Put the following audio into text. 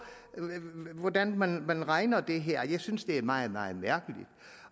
hvordan man udregner det her jeg synes det er meget meget mærkeligt